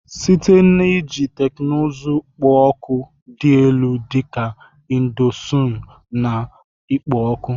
Site n'iji teknụzụ kpo oku dị elu dị ka indosonu na ikpo ọkụ.